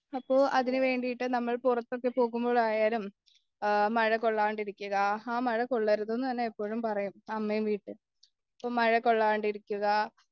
അപ്പോ അതിനുവേണ്ടീട്ട് നമ്മള് പുറത്തൊക്കെ പോകുമ്പോളായാലും മഴ കൊള്ളാണ്ടിരിക്കുക ആ മഴ കൊള്ളരുതെന്നനെ എപ്പോഴും പറയും അമ്മ വീട്ടില് ഈ മഴ കൊള്ളേണ്ടിരിക്കുക